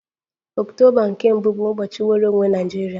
Ọktoba nke mbu bụ ụbọchị nnwere onwe Naịjirịa